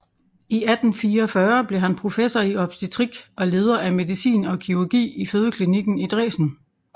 I 1844 blev han professor i obstetrik og leder af medicin og kirurgi i fødeklinikken i Dresen